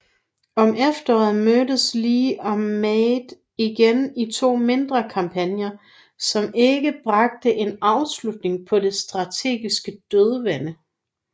Om efteråret mødtes Lee og Meade igen i to mindre kampagner som ikke bragte en afslutning på det strategiske dødvande